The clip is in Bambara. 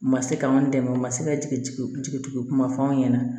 U ma se k'an dɛmɛ o ma se ka jigi jigi kuma fɔ an ɲɛna